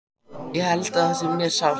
Ég held að það sé mjög sárt.